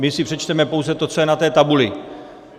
My si přečteme pouze to, co je na té tabuli.